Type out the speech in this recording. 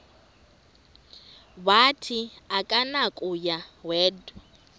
wathi akunakuya wedw